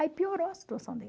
Aí piorou a situação dele.